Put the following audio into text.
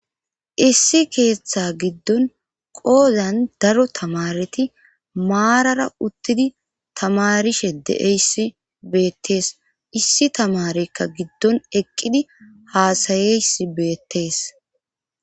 issi keeththa giddon qoozan daro tamareti maarara uttidi tamarishe de7eyssi beettees issi tamarekka giddon eqqidi haasayeys beettees